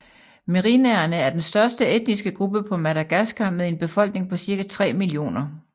Merinaerne er den største etniske gruppe på Madagaskar med en befolkning på cirka 3 millioner